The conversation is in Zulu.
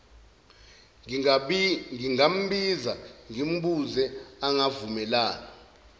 ngingambiza ngimbuze angavumelana